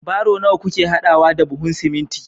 baro nawa kuke hadawa da buhun siminti